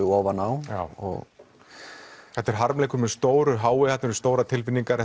ofan á þetta er harmleikur með stóru h i þarna eru stórar tilfinningar